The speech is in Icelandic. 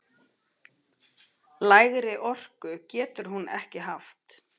Lægri orku getur hún ekki haft!